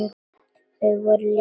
Þau voru líka græn.